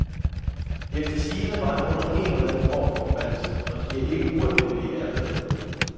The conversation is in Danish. Efter sigende var han under en eller anden form for forbandelse, og de er ikke ualmindelige hernede.